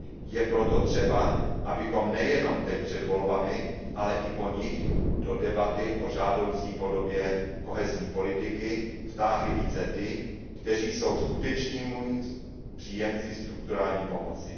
Je proto třeba, abychom nejenom teď před volbami, ale i po nich do debaty o žádoucí podobě kohezní politiky vtáhli více ty, kteří jsou skutečnými příjemci strukturální pomoci.